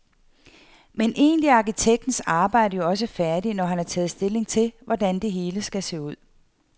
Men egentlig er arkitektens arbejde jo også færdigt, når han har taget stilling til, hvordan det hele skal se ud.